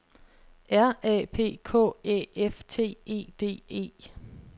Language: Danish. R A P K Æ F T E D E